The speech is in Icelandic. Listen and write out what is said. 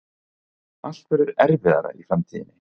Allt verður erfiðara í framtíðinni.